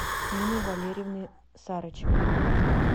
ниной валерьевной сарычевой